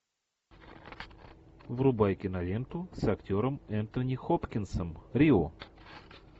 врубай киноленту с актером энтони хопкинсом рио